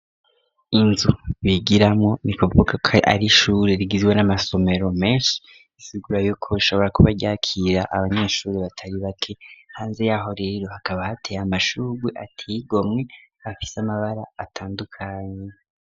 Inzu bigiramwo ni kuvuka ko ari ishuri ryizwe n'amasomero menshi isigura yuko shobora kuba ryakira abanyeshuri batari bake hanze yaho rero hakaba hateye amashugwe ateye gomwe afise amabara atandukanye.